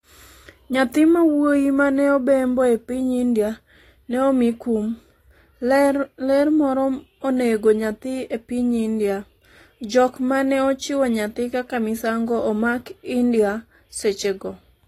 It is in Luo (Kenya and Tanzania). Nyathi ma wuoyi ma ne obembo e piny India ne omi kum. ler moro onego nyathi e piny India. jok mane ochiwo nyathi kaka misango omak india seche go